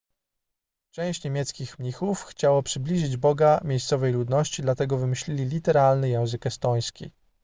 część niemieckich mnichów chciało przybliżyć boga miejscowej ludności dlatego wymyślili literalny język estoński